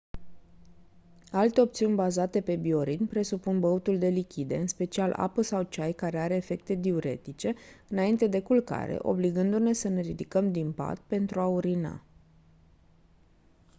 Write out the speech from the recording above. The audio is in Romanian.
alte opțiuni bazate pe bioritm presupun băutul de lichide în special apă sau ceai care are efecte diuretice înainte de culcare obligându-ne să ne ridicăm din pat pentru a urina